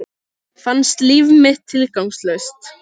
Fannst líf mitt tilgangslaust.